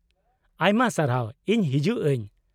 -ᱟᱭᱢᱟ ᱥᱟᱨᱦᱟᱣ, ᱤᱧ ᱦᱤᱡᱩᱜ ᱟᱹᱧ ᱾